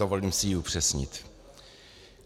Dovolím si ji upřesnit.